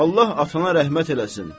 Allah atana rəhmət eləsin.